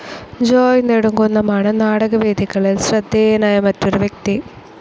ജോയ്‌ നെടുംകുന്നമാണ് നാടക വേദികളിൽ ശ്രദ്ധേയനായ മറ്റൊരു വ്യക്തി.